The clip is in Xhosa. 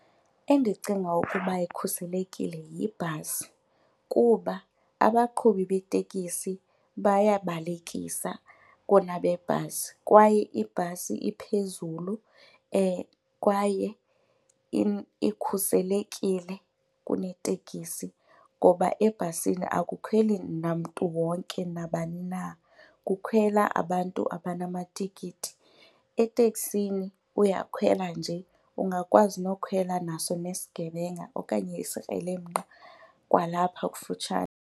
Endicinga ukuba ikhuselekile yibhasi kuba abaqhubi betekisi bayabalekisa kunabebhasi kwaye ibhasi iphezulu kwaye ikhuselekile kuneteksi ngoba ebhasini akukhweli namntu wonke nabani na, kukhwela abantu abanamatikiti. Eteksini uyakhwela nje, ungakwazi nokukhwela naso nesigebenga okanye isikrelemnqa kwalapha kufutshane.